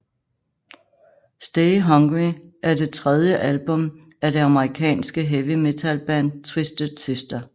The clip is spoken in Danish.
Stay Hungry er det tredje album af det amerikanske heavy metalband Twisted Sister